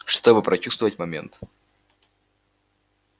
чтобы прочувствовать момент